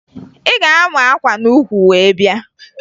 Ị ga-ama akwa n'ukwu wee bịa!